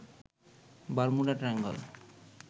Bermuda triangle